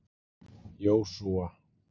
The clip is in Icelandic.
Jósúa